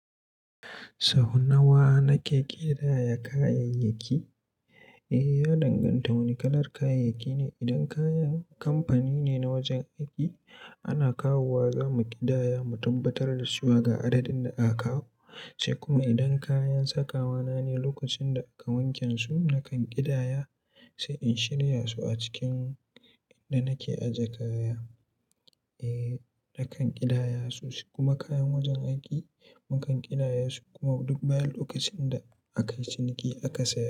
Sau nawa na ke ƙidaya kayayyaki? Eh, ya danganta da wane kalar kayayyaki ne. Idan kayan kamfani ne na wajen aiki, ana kawowa zamu ƙidaya, mu tabbatar da suwa da adadin da aka kawo. Sai kuma idan kayan sakawa na ne lokacin da aka wanke su na kan ƙidaya, sai in shirya su a cikin inda nake aje kaya, eh, na kan ƙidaya su. Kuma kayan wajen aiki mukan ƙidaya su kuma duk bayan lokacin da aka yi ciniki aka sake.